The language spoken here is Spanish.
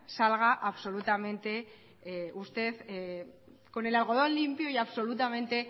salga absolutamente usted con el algodón limpio y absolutamente